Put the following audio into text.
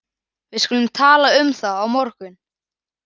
Við skulum tala um það á morgun